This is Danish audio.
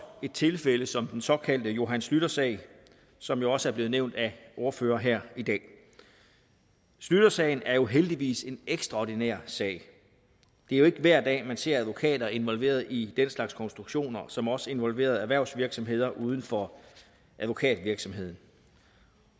i tilfælde som den såkaldte johan schlüter sag som jo også er blevet nævnt af ordførere her i dag schlütersagen er heldigvis en ekstraordinær sag det er jo ikke hver dag at man ser advokater involveret i den slags konstruktioner som også involverer erhvervsvirksomheder uden for advokatvirksomheden